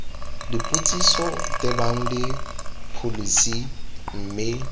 dipotsiso tebang le pholesi mme